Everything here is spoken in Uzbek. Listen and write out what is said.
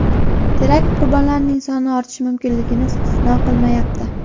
Terakt qurbonlarining soni ortishi mumkinligi istisno qilinmayapti.